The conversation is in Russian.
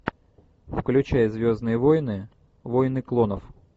включай звездные войны войны клонов